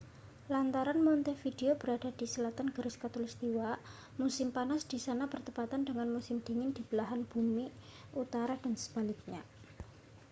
lantaran montevideo berada di selatan garis khatulistiwa musim panas di sana bertepatan dengan musim dingin di belahan bumi utara dan sebaliknya